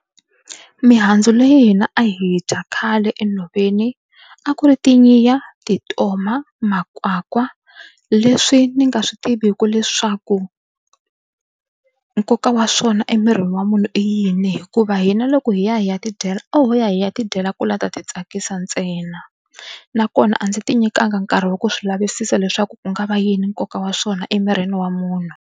Mihandzu leyi hina a hi yi dya khale enhoveni a ku ri tintoma makwakwa leswi ni nga swi tiviku leswaku nkoka wa swona emirini wa munhu i yini hikuva hina loko hi ya hi ya tidyela a ho ya hi ya tidyela ku lava ku ta ti tsakisa ntsena nakona a ndzi ti nyikanga nkarhi wa ku swi lavisisa leswaku ku nga va yini nkoka wa swona emirini wa munhu.